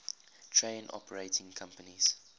train operating companies